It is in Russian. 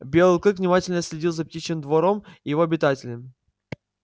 белый клык внимательно следил за птичьим двором и его обитателям